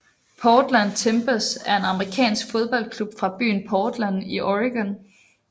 Portland Timbers er en amerikansk fodboldklub fra byen Portland i Oregon